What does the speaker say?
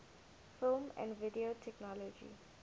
film and video technology